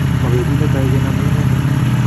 Mobetut netai kenome inendet.